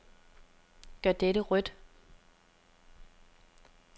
Gør dette rødt.